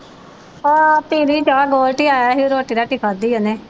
ਹਾਂ ਪੀ ਲਈ ਚਾਹ ਗੋਲਡੀ ਆਇਆ ਸੀ ਰੋਟੀ ਰਾਟੀ ਖਾਧੀ ਉਹਨੇ